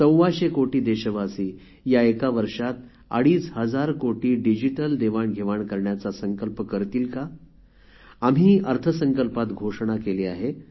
सव्वाशे कोटी देशवासी या एका वर्षात अडीच हजार कोटी डिजिटल देवाणघेवाण करण्याचा संकल्प करतील का आम्ही अर्थसंकल्पात घोषणा केली आहे